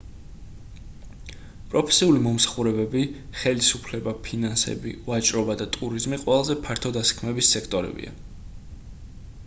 პროფესიული მომსახურებები ხელისუფლება ფინანსები ვაჭრობა და ტურიზმი ყველაზე ფართო დასაქმების სექტორებია